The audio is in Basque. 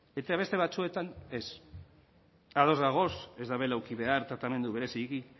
eta beste batzuetan ez ados gaude ez duela eduki behar tratamendu